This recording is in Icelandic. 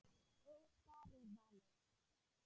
Ykkar er valið.